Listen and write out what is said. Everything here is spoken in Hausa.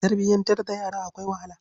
Tarbiyantar da yara akwai wahala.